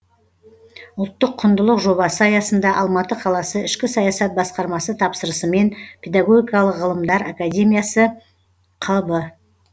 ұлттық құндылық жобасы аясында алматы қаласы ішкі саясат басқармасы тапсырысымен педагогикалық ғылымдар академиясы қб